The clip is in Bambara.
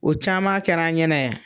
O caman kɛra an ɲɛna yan.